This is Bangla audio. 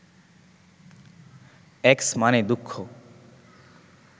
অ্যাকস মানে দুঃখ